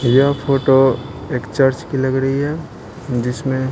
यह फोटो एक चर्च की लग रही है जिसमें --